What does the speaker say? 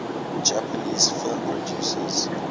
japanese film producers